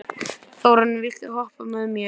Þórhanna, viltu hoppa með mér?